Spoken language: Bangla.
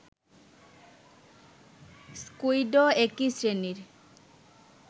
স্কুইডও একই শ্রেণীর